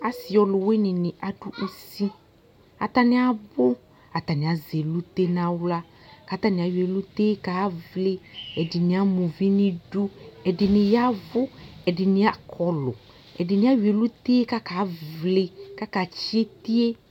asɩɔlʊwɩnɩnɩ adʊ ʊsɩ atanɩabʊ atanɩasɛ ɛlʊtɛ nʊ alƴa kʊ atanɩayɔ ɛlutɛ kavlɩ ɛɖɩnɩ amaʊʋiniɖʊ ɛɖɩnɩyaʋʊ ɛdɩnɩakʊɔlʊ ɛdinɩaƴɔɛlʊtɛ ƙʊ aƙaʋlɩ kʊakatsɩɛtɩɛ